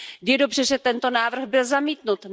Je dobře, že tento návrh byl zamítnut.